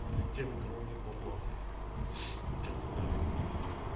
тем у кого нет бабла